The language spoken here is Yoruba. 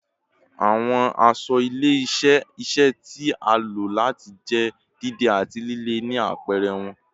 Awọn aṣọ ile-iṣẹ iṣẹ ti a lo lati jẹ deede ati lile ni apẹrẹ wọn